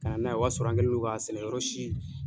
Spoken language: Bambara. Ka na n'a ye o y'a sɔrɔ an kɛlen do k'a sɛnɛyɔrɔ si